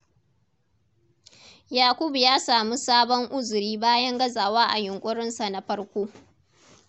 Yakubu ya sami sabon uzuri bayan gazawa a yunƙurinsa na farko.